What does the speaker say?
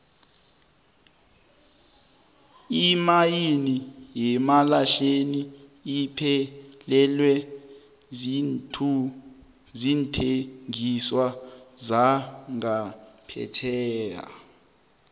imayini yemalahleni iphelelwe ziinthengiswa zangaphetjheya